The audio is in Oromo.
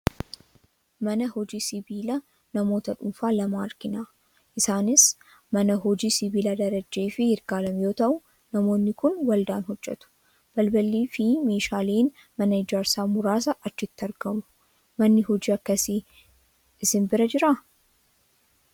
Mana hojii sibiila namoota dhuunfaa lamaa argina. Isaanis mana Hojii sibiilaa Darajjee fi Yirgaalem yoo ta'u, namootni kun waldaan hojjetu. Balballii fi meeshaaleen mana ijaarsa muraasa achitti argamu. Manni hojii akkasii isin bira ni jiraa?